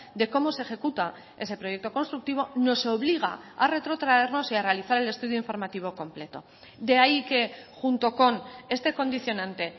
de cómo se ejecuta ese proyecto constructivo nos obliga a retrotraernos y a realizar el estudio informativo completo de ahí que junto con este condicionante